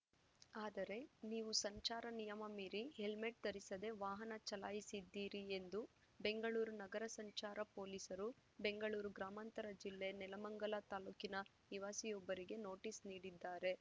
ಆದರೆ ನೀವು ಸಂಚಾರ ನಿಯಮ ಮೀರಿ ಹೆಲ್ಮೆಟ್‌ ಧರಿಸದೇ ವಾಹನ ಚಲಾಯಿಸಿದ್ದೀರಿ ಎಂದು ಬೆಂಗಳೂರು ನಗರ ಸಂಚಾರ ಪೊಲೀಸರು ಬೆಂಗಳೂರು ಗ್ರಾಮಾಂತರ ಜಿಲ್ಲೆ ನೆಲಮಂಗಲ ತಾಲೂಕಿನ ನಿವಾಸಿಯೊಬ್ಬರಿಗೆ ನೋಟಿಸ್‌ ನೀಡಿದ್ದಾರೆ